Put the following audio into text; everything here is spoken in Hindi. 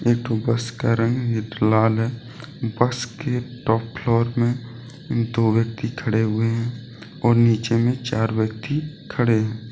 एक ठो बस का रंग लाल है बस के टॉप फ्लोर में दो व्यक्ति खड़े हुए हैं और नीचे भी चार व्यक्ति खड़े हैं।